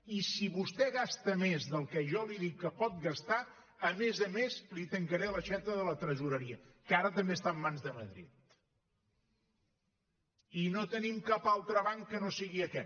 i si vostè gasta més del que jo li dic que pot gastar a més a més li tancaré l’aixeta de la tresoreria que ara també està en mans de madrid i no tenim cap altre banc que no sigui aquest